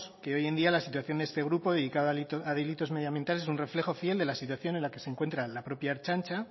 que hoy en día la situación de este grupo dedicado a delitos medioambientales es un reflejo fiel de la situación en la que se encuentra la propia ertzaintza